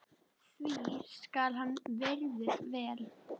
því skal hann virður vel.